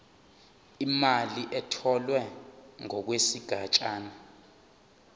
imali etholwe ngokwesigatshana